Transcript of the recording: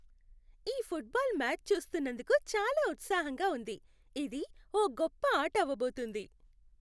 ఈ football match చూస్తున్నందుకు చాలా ఉత్సాహంగా ఉంది! ఇది ఓ గొప్ప ఆట అవబోతోంది.